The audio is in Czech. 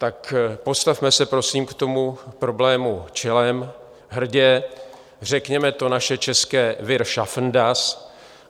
Tak postavme se prosím k tomu problému čelem, hrdě, řekněme to naše české wir schaffen das.